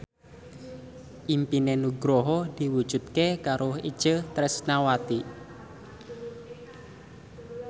impine Nugroho diwujudke karo Itje Tresnawati